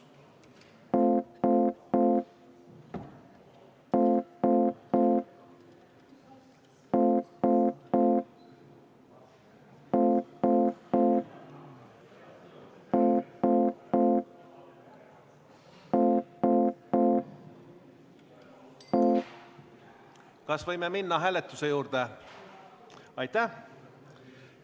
Kas võime minna hääletuse juurde?